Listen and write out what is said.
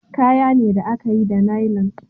Kaya ne da a ka yi da nailon